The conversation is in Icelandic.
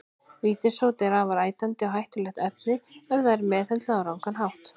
Vítissódi er afar ætandi og hættulegt efni ef það er meðhöndlað á rangan hátt.